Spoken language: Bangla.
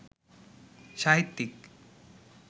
সাহিত্যিক